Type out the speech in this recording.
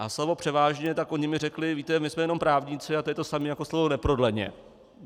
A slovo převážně - tak oni mi řekli: víte, my jsme jenom právníci a to je to samé jako slovo neprodleně.